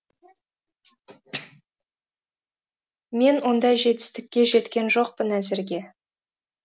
мен ондай жетістікке жеткен жоқпын әзірге